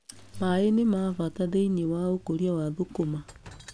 Maaĩ nĩ mabata thĩiniĩ wa ũkũria wa thũkũma